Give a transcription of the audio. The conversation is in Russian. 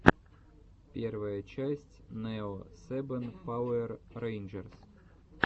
первая часть нео сэбэн пауэр рэйнджерс